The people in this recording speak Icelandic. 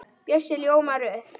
Bjössi ljómar upp.